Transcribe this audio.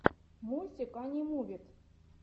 мультик анимувид